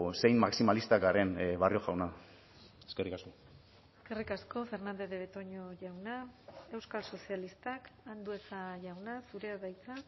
zein maximalistak garen barrio jauna eskerrik asko eskerrik asko fernandez de betoño jauna euskal sozialistak andueza jauna zurea da hitza